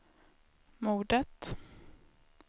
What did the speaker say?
mordet